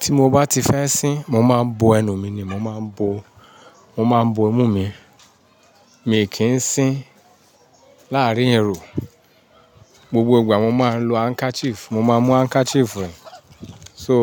Ti mo bá ti fẹ́ sín, mo máa ń bo ẹnu mi ni, mo máa ń bo, mo máa ń bo imú mi. Mi kì í sín láàárín èrò. Gbogbo ìgbà mo máa ń lo handkerchief, mo máa ń mú handkerchief rìn. So